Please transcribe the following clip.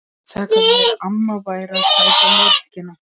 Það gat verið að amma væri að sækja mjólkina.